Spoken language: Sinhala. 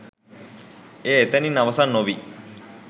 එය එතනින් අවසන් නොවී